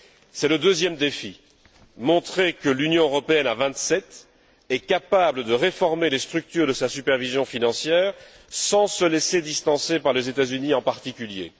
C'est le deuxième défi montrer que l'Union européenne à vingt sept est capable de réformer les structures de sa supervision financière sans se laisser distancer par les États Unis en particulier.